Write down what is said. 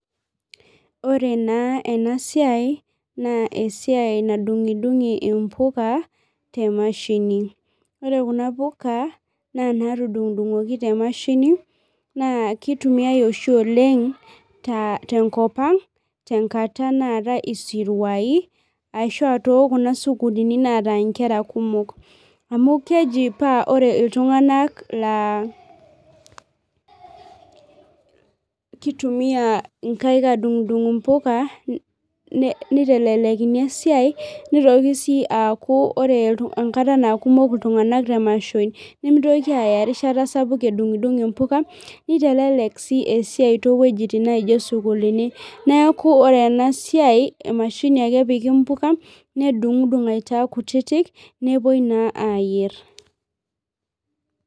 Ore naa ena siai naa esiai nadung'idung'i mpuka te mashini, ore kuna puka naa inaatudung'udung'oki te mashini naa kitumiai oshi oleng' tenkop ang' tenkata naatai isirwai ashu aa tookuna sukuulini naatai nkera kumok amu keji paa ore iltung'anak laa kitumia nkaik aadungdung' mpuka nitelelekini esiai nitoki sii aaku ore enkata naa kumok iltung'anak te mashoi nemitokini aaya erishata sapuk edung'idung'itoi mpuka nitelelek sii esiai toowuejitin nijio isuukuulini neeku ore ena siai emashini ake epiki mpuka nedungdung' aitaa kutitik nepuoi naa aayierr.